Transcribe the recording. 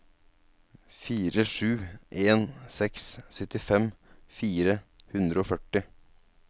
fire sju en seks syttifem fire hundre og førti